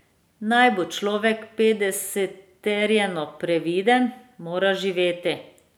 Naj bo človek podeseterjeno previden, mora živeti.